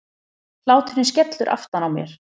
Hláturinn skellur aftan á mér.